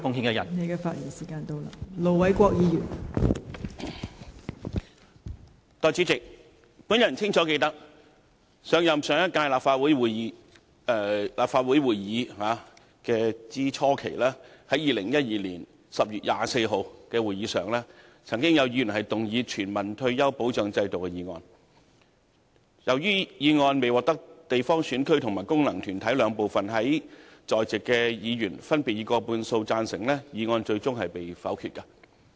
代理主席，我清楚記得，上屆立法會初期，在2012年10月24日的會議上，便曾經有議員動議"全民退休保障制度"議案，由於未獲得分區直選產生及功能團體選舉產生的兩部分在席議員分別以過半數贊成，議案最終被否決。